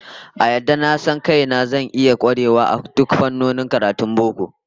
A yadda na san kaina, zan iya kwarewa a dukkan fannonin karatun boko